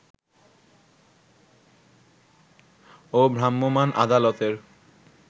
ও ভ্রাম্যমাণ আদালতের